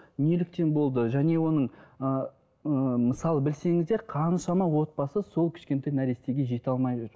неліктен болды және оның ыыы мысалы білсеңіздер қаншама отбасы сол кішкентай нәрестеге жете алмай